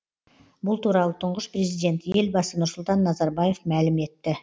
бұл туралы тұңғыш президент елбасы нұрсұлтан назарбаев мәлім етті